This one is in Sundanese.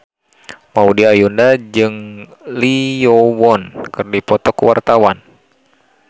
Maudy Ayunda jeung Lee Yo Won keur dipoto ku wartawan